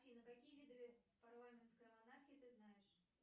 афина какие виды парламентской монархии ты знаешь